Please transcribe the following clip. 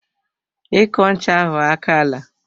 Iko ncha ahụ akaala.